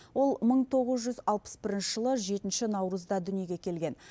ол мың тоғыз жүз алпыс бірінші жылы жетінші наурызда дүниеге келген